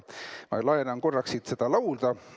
Laenan korraks siit seda lauda.